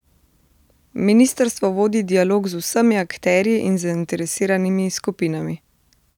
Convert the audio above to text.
Ministrstvo vodi dialog z vsemi akterji in zainteresiranimi skupinami.